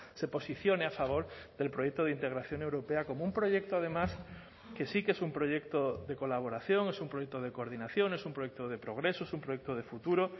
se posicione a favor del proyecto de integración europea como un proyecto además que sí que es un proyecto de colaboración es un proyecto de coordinación es un proyecto de progreso es un proyecto de futuro